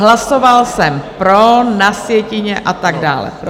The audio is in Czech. Hlasoval jsem pro, na sjetině - a tak dále.